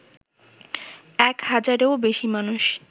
এক হাজারেও বেশি মানুষ